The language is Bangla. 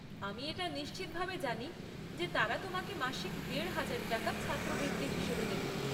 আমি এটা নিশ্চিতভাবে জানি যে তারা তোমাকে মাসিক দেড় হাজার টাকা ছাত্রবৃত্তি হিসেবে দেবে।